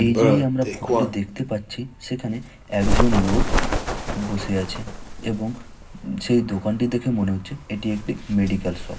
এই যে এই আমরা ফটো -টি দেখতে পাচ্ছি সেখানে একজন লোক বসে আছে এবং উ সেই দোকানটি দেখে মনে হচ্ছে এটি একটি মেডিক্যাল শপ ।